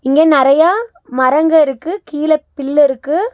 இங்க நெறையா மரங்க இருக்கு கீழ பில் இருக்கு.